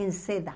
em seda.